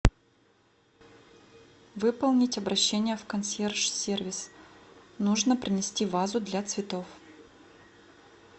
выполнить обращение в консьерж сервис нужно принести вазу для цветов